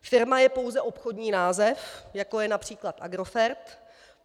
Firma je pouze obchodní název, jako je například Agrofert.